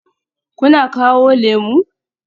Kuna kawo lemu?